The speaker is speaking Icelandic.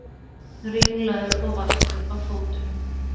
Ringlaður og valtur á fótunum.